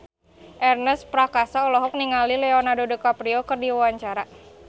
Ernest Prakasa olohok ningali Leonardo DiCaprio keur diwawancara